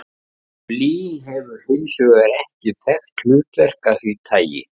Blý hefur hins vegar ekki þekkt hlutverk af því tagi.